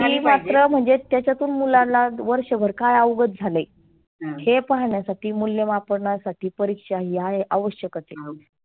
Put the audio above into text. ती मात्र म्हणजेच त्याच्यातून मुलांना वर्षभर काय अवघत झाले? हे पाहण्यासाठी मुल्यमापणासाठी परिक्षा ही आहे आवश्यकच आहे.